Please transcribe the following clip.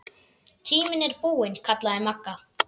Tíminn er búinn kallaði Magga.